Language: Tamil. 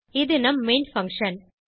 இது நம் மெயின் பங்ஷன்